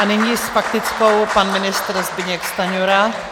A nyní s faktickou pan ministr Zbyněk Stanjura.